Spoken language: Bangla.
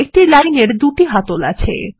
একটি লাইন এর দুটি হ্যান্ডল আছে